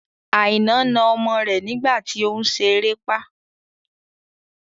Aina na ọmọ rẹ nígbà tí òun ṣe erépá